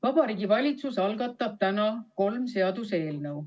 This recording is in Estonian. Vabariigi Valitsus algatab täna kolm seaduseelnõu.